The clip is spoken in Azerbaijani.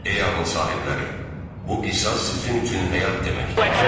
Ey ağıl sahibləri, bu qisas sizin üçün həyat deməkdir.